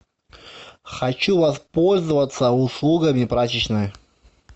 хочу воспользоваться услугами прачечной